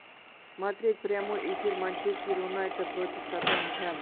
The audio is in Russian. смотреть прямой эфир манчестер юнайтед против тоттенхэм